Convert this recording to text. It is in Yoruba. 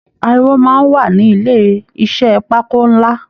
Àríwó máa n wà ní ilé iṣẹ pákó nlá.